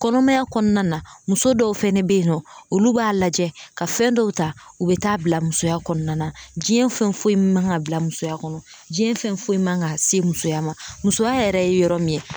Kɔnɔmaya kɔnɔna na muso dɔw fɛnɛ be yen nɔ olu b'a lajɛ ka fɛn dɔw ta u be taa bila musoya kɔnɔna na, diɲɛ fɛn foyi man ka bila musoya kɔnɔ diɲɛ fɛn foyi man kan ka se musoya ma musoya yɛrɛ ye yɔrɔ min ye